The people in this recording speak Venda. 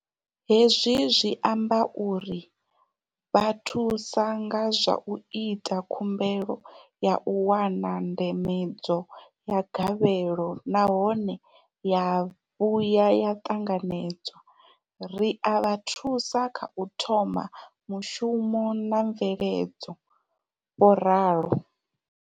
Hezwi zwi amba uri vha thusa nga zwa u ita khumbelo ya u wana ndambedzo ya gavhelo nahone ya vhuya ya ṱanganedzwa, ri a vha thusa kha u thoma mushumo na mveledzo, vho ralo.